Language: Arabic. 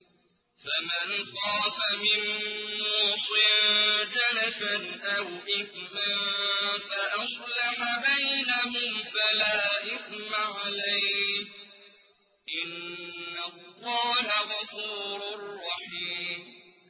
فَمَنْ خَافَ مِن مُّوصٍ جَنَفًا أَوْ إِثْمًا فَأَصْلَحَ بَيْنَهُمْ فَلَا إِثْمَ عَلَيْهِ ۚ إِنَّ اللَّهَ غَفُورٌ رَّحِيمٌ